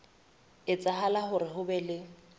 etsahala hore ho be le